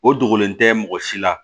O dogolen tɛ mɔgɔ si la